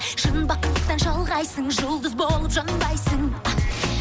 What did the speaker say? шын бақыттан шалғайсың жұлдыз болып жанбайсың